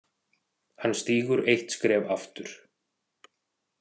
Hann stígur eitt skref aftur.